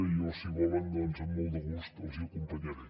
i jo si volen doncs amb molt de gust els acompanyaré